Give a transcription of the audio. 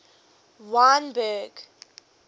wynberg